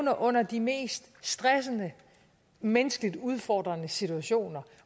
under de mest stressende og menneskeligt udfordrende situationer